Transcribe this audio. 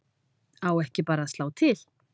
Á ekki bara að slá til?